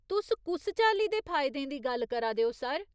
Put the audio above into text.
तुस कुस चाल्ली दे फायदें दी गल्ल करा दे ओ, सर ?